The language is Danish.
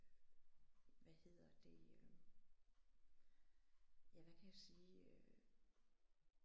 Hvad hedder det ja hvad kan jeg sige øh